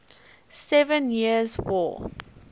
seven years war